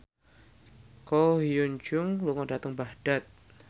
Ko Hyun Jung lunga dhateng Baghdad